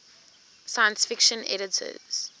science fiction editors